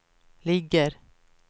ligger